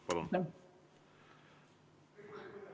Palun!